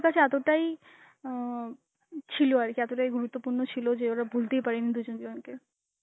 কাছে এতটাই আঁ ছিল আর কি, এতটাই গুরুত্বপূর্ণ ছিল যে ওরা ভুলতেই পারিনি দুজন দুজনকে.